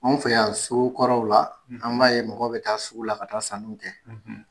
An fɛ yan so kɔrɔw la; An b'a ye mɔgɔ bɛ taa sugu la ka taa sanuw kɛ;